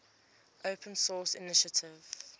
open source initiative